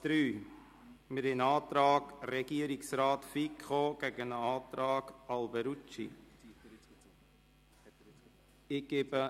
Hier liegt ein Antrag Regierungsrat/Fiko gegen einen Antrag Alberucci vor.